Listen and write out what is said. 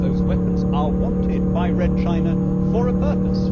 Those weapons are wanted by Red China for a purpose